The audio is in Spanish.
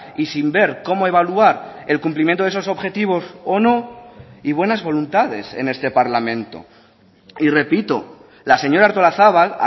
y sin ver cómo evaluar el cumplimiento de esos objetivos o no y buenas voluntades en este parlamento y repito la señora artolazabal